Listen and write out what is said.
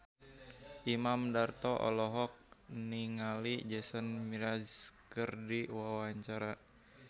Imam Darto olohok ningali Jason Mraz keur diwawancara